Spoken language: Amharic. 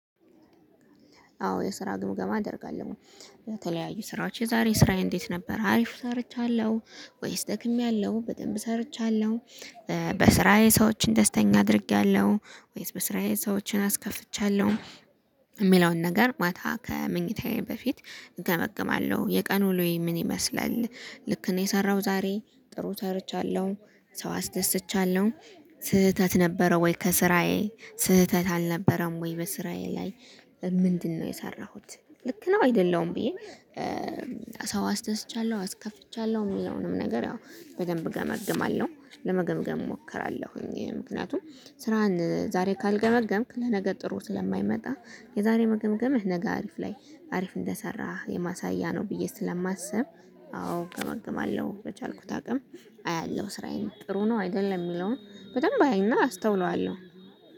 አዎ የስራ ግምገማ አደርጋለሁኝ ለተለያዩ ስራዎች የዛሬ ስራዬ እንዴት ነበር አሪፍ ሰርቻለሁ ወይስ ደክሜያለሁ በደንብ ሰርቻለሁ። በስራዬ ሰዎችን ደስተኛ አድርጌያለሁ ወይስ በስራዬ ሰዎችን አስከፍቻለሁ። እሚለውን ነገር ማታ ከመኝታዬ በፊት እገመግማለሁ የቀኑ ልዩ ምን ይመስላል? ልክ ነው የሰራው ዛሬ ጥሩ ሰርቻለሁ ሰው አስደስቻለሁ። ስህተት ነበረ ወይ ከስራዬ ስህተት አልነበረም ወይ በስራዬ ላይ? ምንድነው የሰራሁት ልክ ነው አይደለዉም? ብዬ ሰው አስደስቻለሁ አስከፍቻለሁ እሚለውንም ነገር ያው በደንብ ገመግማለሁ። ለመገምገም እሞክራለሁኝ ምክንያቱም ስራህን ዛሬ ካልገመገምክ ለነገ ጥሩ ስለማይመጣ። የዛሬ መገምገምህ ነገ አሪፍ ላይ አሪፍ እንደሰራህ የማሳያ ነው ብዬ ስለማስብ። አዎ እገምግማለሁ በቻልኩት አቅም አያለሁ ስራዬን ጥሩ ነው አይደለም የሚለውን በደንብ አይና አስተውለዋለሁ